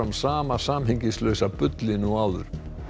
sama samhengislausa bullinu og áður